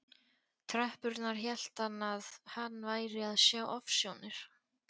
tröppurnar hélt hann að hann væri að sjá ofsjónir.